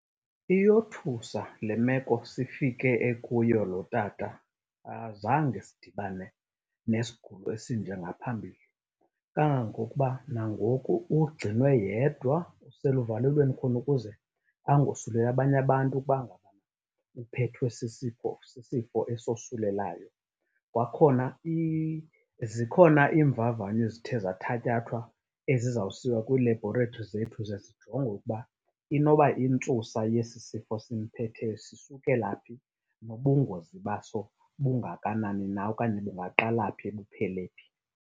Iyothusa le meko sifike ekuyo lo tata, azange sidibane nesigulo esinjena ngaphambili. Kangangokuba nangoku ugcinwe yedwa useluvalelweni khona ukuze angosuleli abanye abantu ukuba ngaba uphethwe sisipho sisifo esosulelayo. Kwakhona zikhona iimvavanyo ezithe zathatyathwa ezizawusiwa kwii-laboratories zethu ze zijongwe ukuba inoba intsusa yesisifo simphetheyo sisukela phi nobungozi baso bungakanani na okanye bungaqala phi buphele phi.